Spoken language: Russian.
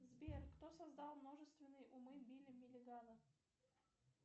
сбер кто создал множественные умы билли миллигана